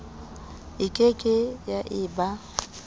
e ke ke ya eba